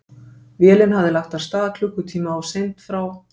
Vélin hafði lagt að stað klukkutíma of seint frá